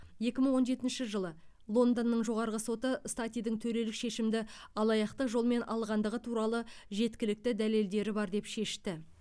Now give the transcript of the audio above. екі мың он жетінші жылы лондонның жоғарғы соты статидің төрелік шешімді алаяқтық жолмен алғандығы туралы жеткілікті дәлелдері бар деп шешті